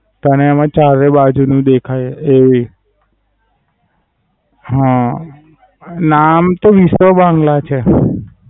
તને એમાં ચારે બાજુ નું દેખાય એવી. હા. ના આમ તો વીસો બાંગ્લા છે.